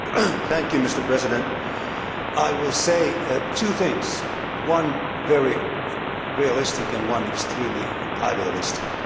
Mr President, I will say two things, one very realistic and one extremely idealistic.